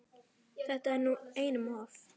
Þetta er nú einum of!